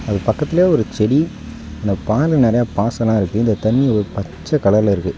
அது பக்கத்துலயே ஒரு செடி அந்த பான நெறைய பாசல்லா இருக்கு இந்த தண்ணி ஒரு பச்ச கலர்ல இருக்கு.